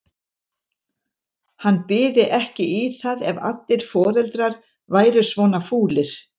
Hann byði ekki í það ef allir foreldrar væru svona fúlir.